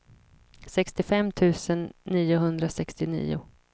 sextiofem tusen niohundrasextionio